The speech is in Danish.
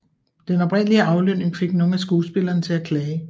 Den oprindelige aflønning fik nogle af skuespillerne til at klage